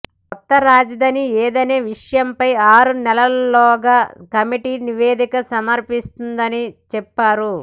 కొత్త రాజధాని ఏదనే విషయంపై ఆరు నెలల్లోగా కమిటీ నివేదిక సమర్పిస్తుందని చెప్పారు